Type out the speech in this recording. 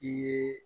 I ye